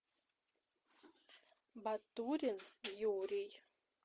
батурин юрий